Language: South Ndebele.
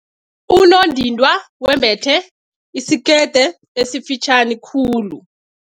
Unondindwa wembethe isikete esifitjhani khulu.